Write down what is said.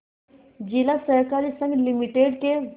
जिला सहकारी संघ लिमिटेड के